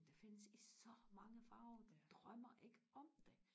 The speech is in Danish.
det findes i så mange farver du drømmer ikke om det